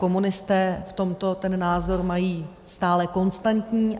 Komunisté v tomto ten názor mají stále konstantní.